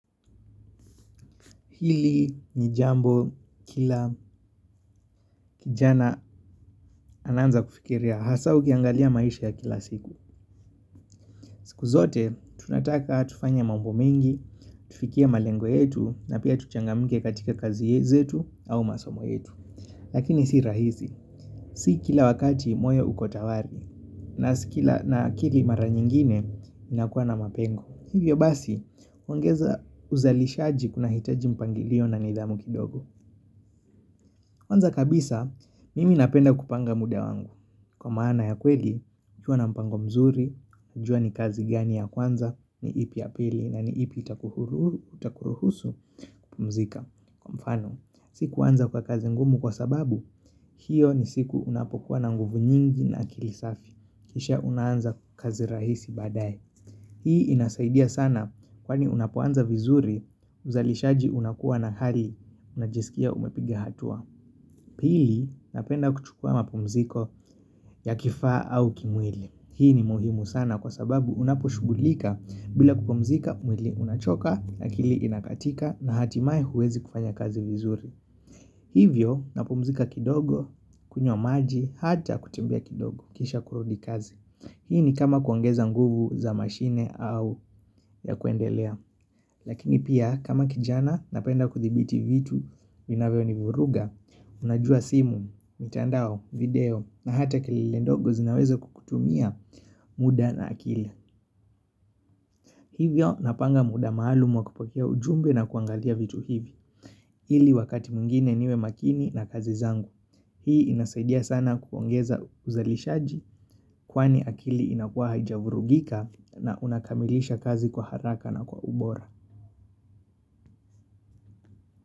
Hili nijambo kila kijana ananza kufikiria hasa ukiangalia maisha ya kila siku. Siku zote tunataka tufanye mambo mengi, tufikie malengo yetu na pia tuchangamike katika kazi yetu au masomo yetu. Lakini si rahisi, si kila wakati moyo ukotawadhi na sikila na akili mara nyingine inakuwa na mapengo. Hivyo basi, kuongeza uzalishaji kuna hitaji mpangilio na nidhamu kidogo kwanza kabisa, mimi napenda kupanga muda wangu. Kwa maana ya kweli, nikiwa na mpango mzuri, najua ni kazi gani ya kwanza, ni ipi yapili, na ni ipi itakuruhusu kupumzika. Kwa mfano, sikuanza kwa kazi ngumu kwa sababu, hiyo ni siku unapokuwa na nguvu nyingi na akilisafi. Kisha unanza kazi rahisi baadae. Hii inasaidia sana kwa ni unapoanza vizuri, uzalishaji unakuwa na hari, unajisikia umepiga hatua. Pili napenda kuchukua mapumziko ya kifa au kimwili. Hii ni muhimu sana kwa sababu unapo shugulika bila kupumzika mwili unachoka akili inakatika na hatimae huwezi kufanya kazi vizuri. Hivyo napumzika kidogo, kunywa maji, hata kutembea kidogo, kisha kurudi kazi. Hii ni kama kuongeza nguvu za mashine au ya kuendelea. Lakini pia kama kijana napenda kuthibiti vitu vinavyo ni vuruga, unajua simu, mitandao, video, na hata kelele ndogo zinaweza kukutumia muda na akili. Hivyo napanga muda maalumu wakupokea ujumbe na kuangalia vitu hivi, hili wakati mungine niwe makini na kazi zangu. Hii inasaidia sana kuongeza uzalishaji kwani akili inakuwa haijavurugika na unakamilisha kazi kwa haraka na kwa ubora.